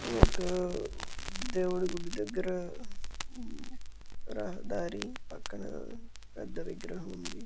దేవుడి గుడి దగ్గర రహదారి పక్కన పెద్ద విగ్రహం ఉంది.